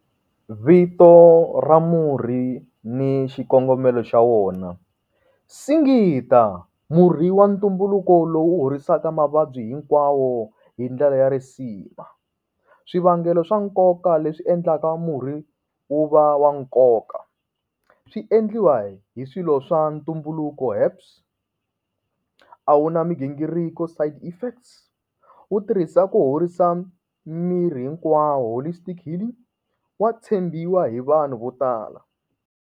Vito ra murhi ni xikongomelo xa wona. Singita murhi wa ntumbuluko lowu horisaka mavabyi hinkwawo hi ndlela ya risima swivangelo swa nkoka leswi endlaka murhi wu va wa nkoka swi endliwa hi swilo swa ntumbuluko herbs a wu na migingiriko side effects wu tirhisa ku horisa miri hinkwawo holy stick healing, wa tshembiwa hi vanhu vo tala.